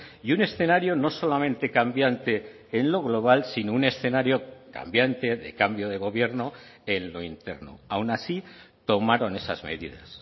y un escenario no solamente cambiante en lo global sino un escenario cambiante de cambio de gobierno en lo interno aun así tomaron esas medidas